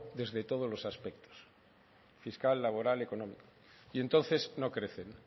desde todos los aspectos fiscal laboral económico y entonces no crecen